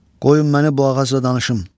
Qoy məni bu ağacla danışım.